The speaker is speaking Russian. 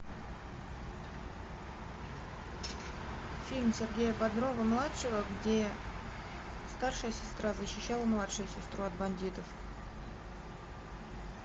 фильм сергея бодрова младшего где старшая сестра защищала младшую сестру от бандитов